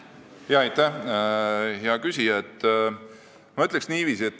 Aitäh, hea küsija!